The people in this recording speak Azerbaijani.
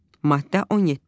Maddə 17.